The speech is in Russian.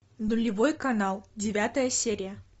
нулевой канал девятая серия